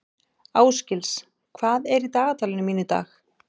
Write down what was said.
Ásgils, hvað er í dagatalinu mínu í dag?